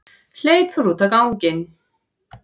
Hleypur út á ganginn.